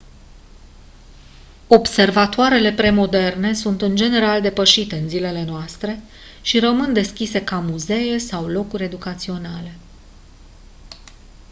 observatoarele pre-moderne sunt în general depășite în zilele noastre și rămân deschise ca muzee sau locuri educaționale